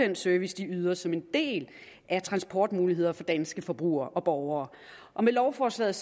den service de yder som en del af transportmuligheder for danske forbrugere og borgere med lovforslaget